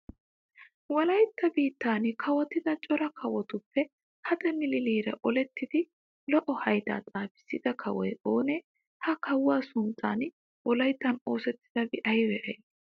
Wolaytta biittan kawotida cora kawotuppe haxe milileera olettidi lo"o haydaa xaafissida kawoy oonee? Ha kawuwa sunttan wolayttan oosettidabati aybee aybee